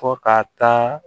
Fɔ ka taa